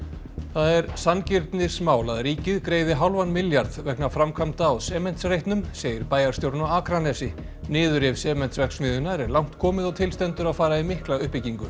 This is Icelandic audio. það er sanngirnismál að ríkið greiði hálfan milljarð vegna framkvæmda á Sementsreitnum segir bæjarstjórinn á Akranesi niðurrif Sementsverksmiðjunnar er langt komið og til stendur að fara í mikla uppbyggingu